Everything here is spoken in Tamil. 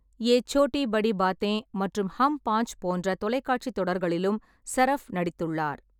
யே சோட்டி படி பாத்தேன் மற்றும் ஹம் பாஞ்ச் போன்ற தொலைக்காட்சி தொடர்களிலும் சரஃப் நடித்துள்ளார்.